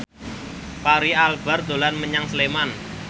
Fachri Albar dolan menyang Sleman